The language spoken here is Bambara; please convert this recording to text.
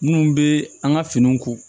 Minnu bɛ an ka finiw ko